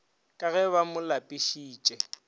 ka ge ba mo lapišitše